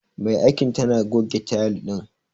Mai aikin tana goge tayil din.